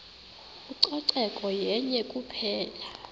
ucoceko yenye kuphela